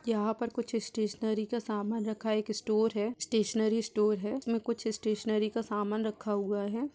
यहां पर कुछ स्टेशनरी का सामान रखा है। एक स्टोर है। स्टेशनरी स्टोर है इसमें कुछ स्टेशनरी का सामान रखा हुआ है।